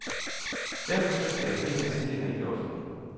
Derfor søgte jeg primært stillinger i det offentlige.